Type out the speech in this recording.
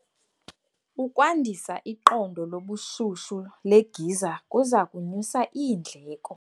Ukwandisa iqondo lobushushu legiza kuza kunyusa iindleko.